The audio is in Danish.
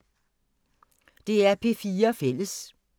DR P4 Fælles